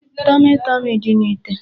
Tọmị tọmị dị n'ite.